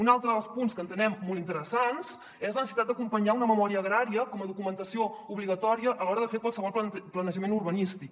un altre dels punts que entenem molt interessants és la necessitat d’acompanyar una memòria agrària com a documentació obligatòria a l’hora de fer qualsevol planejament urbanístic